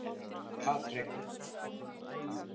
Patrekur